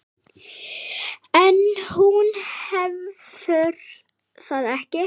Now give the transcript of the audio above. En hún hefur það ekki.